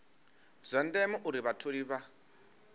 zwa ndeme uri vhatholi vha